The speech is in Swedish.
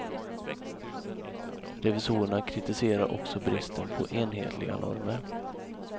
Revisorerna kritiserar också bristen på enhetliga normer.